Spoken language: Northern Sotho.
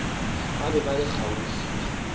ba be ba le kgauswi